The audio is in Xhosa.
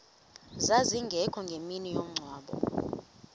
zazingekho ngemini yomngcwabo